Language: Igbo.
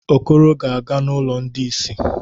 Okoro ga-aga n’ụlọ ndị ìsì.